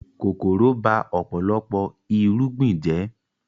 Kòkòrò ba ọ̀pọ̀lọpọ̀ irúgbìn jẹ́